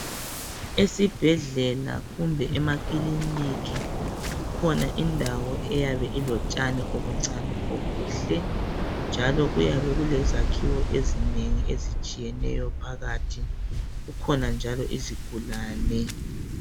Esibhedlela kumbe ema clinic kukhona indawo eyabe ilotshani obuncane obuhle njalo kuyabe kulezakhiwo ezingeni ezitshiyeneyo phakathi. Kukhona njalo izigulane.